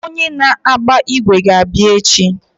Onye na-agba ígwè ga-abịa echi.